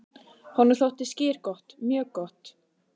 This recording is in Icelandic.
Honum þótti skyr gott, mjög gott.